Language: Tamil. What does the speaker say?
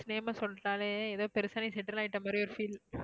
name அ சொல்லிட்டாலே ஏதோ பெருசா settle ஆயிட்ட மாதிரி ஒரு feel